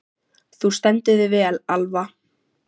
Þú stendur þig vel, Alva!